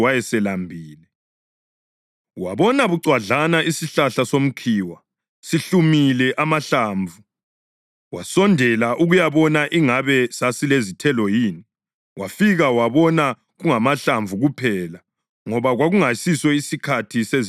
Wabona bucwadlana isihlahla somkhiwa sihlumile amahlamvu, wasondela ukuyabona ingabe sasilezithelo yini. Wafika wabona kungamahlamvu kuphela ngoba kwakungasiso isikhathi sezithelo zomkhiwa.